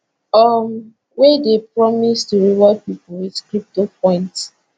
um wey dey promise to reward pipo wit crypto points